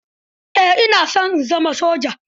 Eh, ina son zama soja.